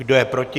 Kdo je proti?